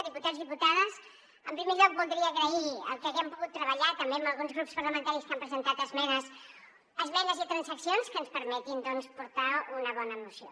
diputats diputades en primer lloc voldria agrair que haguem pogut treballar també amb alguns grups parlamentaris que han presentat esmenes esmenes i transaccions que ens permetin portar una bona moció